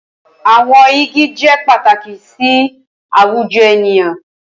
Awọn igi jẹ pataki si awujọ eniyan